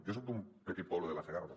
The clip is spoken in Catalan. jo soc d’un petit poble de la segarra